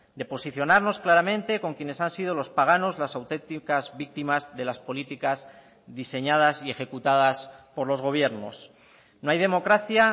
de posicionarnos claramente con quienes han sido los páganos las auténticas víctimas de las políticas diseñadas y ejecutadas por los gobiernos no hay democracia